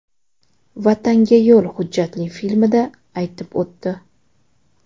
Vatanga yo‘l” hujjatli filmida aytib o‘tdi.